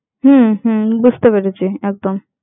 হম হম বুঝতে পেরেছি একদম।